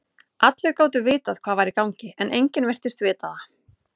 Allir gátu vitað hvað var í gangi, en enginn virtist vita það.